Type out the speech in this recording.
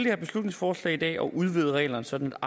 her beslutningsforslag om at udvide reglerne sådan